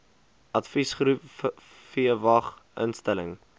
adviesgroep vwag instelling